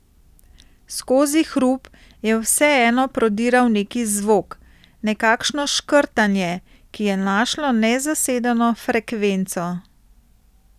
Skozi hrup je vseeno prodiral neki zvok, nekakšno škrtanje, ki je našlo nezasedeno frekvenco.